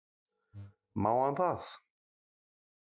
Má hann það?